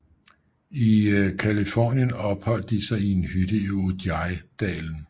I Californien opholdt de sig i en hytte i Ojai dalen